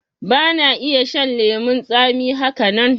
Ba na iya shan lemon tsami haka nan